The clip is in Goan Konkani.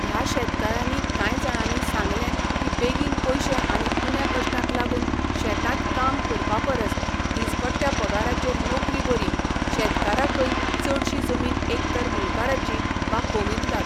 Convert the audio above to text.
ह्या शेतकारांनी कांय जाणांनी सांगलें की बेगीन पयशे आनी उण्या कश्टांक लागून शेतांत काम करपा परस दिसपट्ट्या पगाराचेर नोकरी बरी शेतकाराकय चडशी जमीन एक तर मुणकाराची वा कॉमुनिदाद